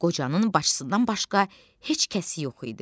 Qocanın bacısından başqa heç kəsi yox idi.